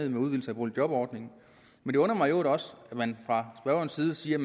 en udvidelse af boligjobordningen det undrer mig i øvrigt også at man fra spørgerens side siger at